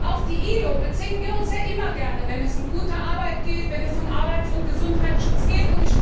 Auf die ILO beziehen wir uns ja immer gerne, wenn es um gute Arbeit geht, wenn es um Arbeits und Gesundheitsschutz geht.